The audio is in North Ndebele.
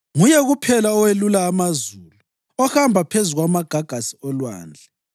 Nguye kuphela owelula amazulu, ohamba phezu kwamagagasi olwandle.